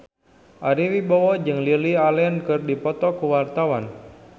Ari Wibowo jeung Lily Allen keur dipoto ku wartawan